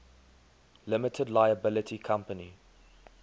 limited liability company